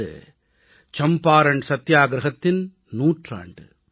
இது சம்பாரண் சத்தியாகிரஹத்தின் நூற்றாண்டு